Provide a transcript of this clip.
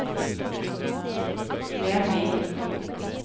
Lenvik